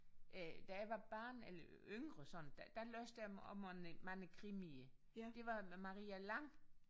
Øh da jeg var barn eller yngre sådan da læste jeg også mange mange krimier det var med Maria Lang